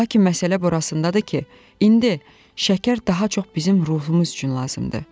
Lakin məsələ burasındadır ki, indi şəkər daha çox bizim ruhumuz üçün lazımdır.